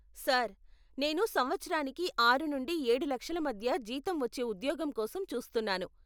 Sir, నేను సంవత్సరానికి ఆరు నుండి ఏడు లక్షల మధ్య జీతం వచ్చే ఉద్యోగం కోసం చూస్తున్నాను.